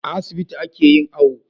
A asibiti ake yin awo